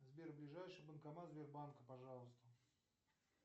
сбер ближайший банкомат сбербанка пожалуйста